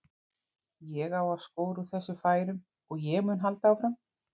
Ég á að skora úr þessum færum og ég mun halda áfram.